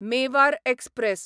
Mewar express